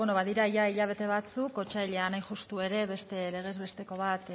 bueno badira jada hilabete batzuk otsailean hain justu ere beste legez besteko bat